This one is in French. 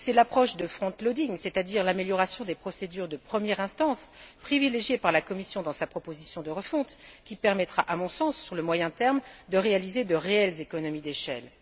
Et c'est l'approche de front loading c'est à dire l'amélioration des procédures de première instance, privilégiée par la Commission dans sa proposition de refonte, qui permettra, à mon sens, sur le moyen terme, de réaliser de véritables économies d'échelle.